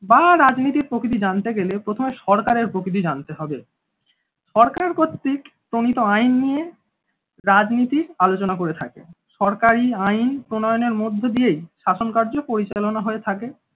বা রাজনীতির প্রকৃতি জানতে গেলে প্রথমে সরকারের প্রকৃতির জানতে হবে সরকারের কর্তৃক প্রণীত আইন নিয়ে রাজনীতির আলোচনা করে থাকে। সরকারি আইন প্রণয়নের মধ্য দিয়েই শাসন কার্য পরিচালনা হয়ে থাকে।